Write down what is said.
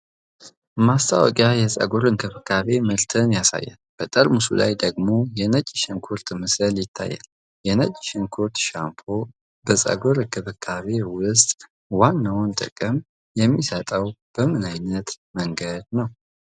ማስታወቂያ የፀጉር እንክብካቤ ምርትን ያሳያል፤ በጠርሙሱ ላይ ደግሞ የነጭ ሽንኩርት ምስል ይታያል። የነጭ ሽንኩርት ሻምፑ በፀጉር እንክብካቤ ውስጥ ዋናውን ጥቅም የሚሰጠው በምን ዓይነት መንገድ ነው?